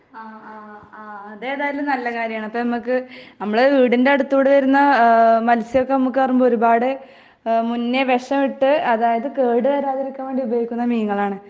അത് ഏതായാലൂം നല്ല കരയാം ആണ്.അപ്പോ നമുക്കു ,നമ്മുടെ വീടിന്റെ അടുത്തുകൂടി വരുന്ന മത്സ്യം ഒക്കെ നമുക്കു പറയുമ്പോ ഒരുപാടു മുന്നേ വിഷം ഇട്ടു ,അതായതു കേടു വരാതെ ഇരിക്കാൻ ഉപയോഗിക്കുന്ന മീനുകൾ ആണ് .